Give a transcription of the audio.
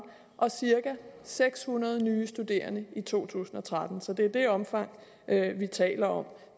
og cirka seks hundrede nye studerende i to tusind og tretten så det er det omfang vi taler om